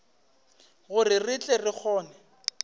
gore re tle re kgone